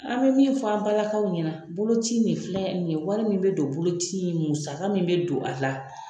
An bɛ min fɔ an ba lakaw ɲɛna boloci nin filɛ nin ye wari min bɛ don boloci nin musaka min bɛ don a la.